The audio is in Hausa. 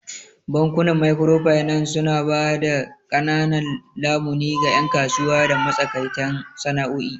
Bankunan Microfinance suna ba da ƙananan lamuni ga 'yan kasuwa da matsakaitan sana'o'i.